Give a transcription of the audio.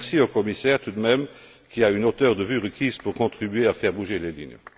Merci au commissaire, tout de même, qui a une hauteur de vue requise pour contribuer à faire bouger les lignes.